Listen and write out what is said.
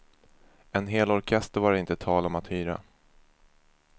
En hel orkester var det inte tal om att hyra.